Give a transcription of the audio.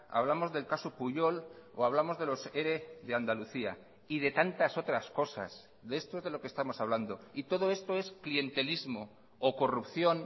hablamos del caso pujol o hablamos de los ere de andalucía y de tantas otras cosas de esto es de lo que estamos hablando y todo esto es clientelismo o corrupción